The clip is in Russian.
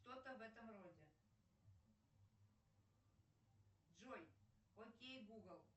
что то в этом роде джой окей гугл